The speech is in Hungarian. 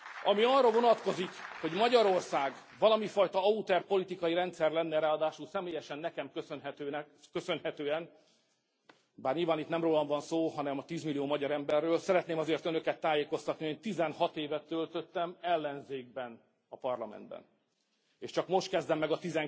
Ami arra vonatkozik, hogy Magyarország valamifajta autoriter politikai rendszer lenne, ráadásul személyesen nekem köszönhetően, bár nyilván itt nem rólam van szó, hanem a tízmillió magyar emberről, szeretném azért Önöket tájékoztatni, hogy 16 évet töltöttem ellenzékben a parlamentben, és csak most kezdem meg a